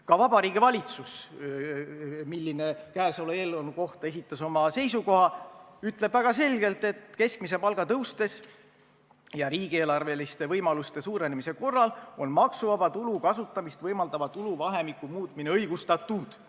Ka Vabariigi Valitsus, kes käesoleva eelnõu kohta esitas oma seisukoha, ütleb väga selgelt, et keskmise palga tõustes ja riigieelarveliste võimaluste suurenemise korral on maksuvaba tulu kasutamist võimaldava tuluvahemiku muutmine õigustatud.